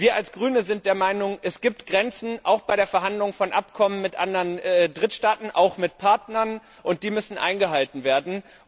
Wir als Grüne sind der Meinung Es gibt Grenzen, auch bei der Verhandlung von Abkommen mit anderen Drittstaaten, auch mit Partnern, und diese müssen eingehalten werden.